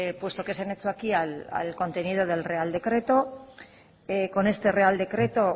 puesto que se han hecho aquí al contenido del real decreto con este real decreto